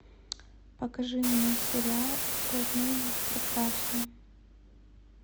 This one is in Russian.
покажи мне сериал упражнения в прекрасном